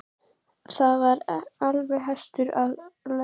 Þar var kominn hestur Ara lögmanns.